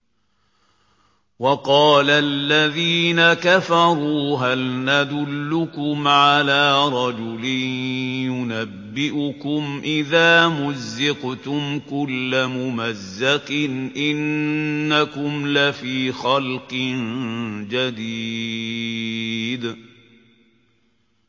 وَقَالَ الَّذِينَ كَفَرُوا هَلْ نَدُلُّكُمْ عَلَىٰ رَجُلٍ يُنَبِّئُكُمْ إِذَا مُزِّقْتُمْ كُلَّ مُمَزَّقٍ إِنَّكُمْ لَفِي خَلْقٍ جَدِيدٍ